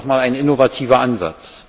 Das wäre doch mal ein innovativer Ansatz!